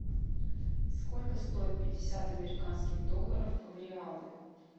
сколько стоит пятьдесят американских долларов в реалы